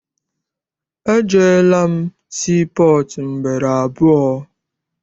Ejeela m sii pọọtụ ugboro abụọ.